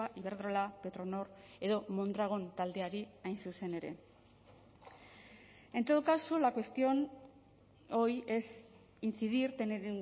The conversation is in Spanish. iberdrola petronor edo mondragon taldeari hain zuzen ere en todo caso la cuestión hoy es incidir tener